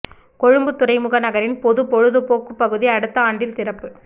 கொழும்புத் துறைமுக நகரின் பொதுப் பொழுதுபோக்குப் பகுதி அடுத்த ஆண்டில் திறப்பு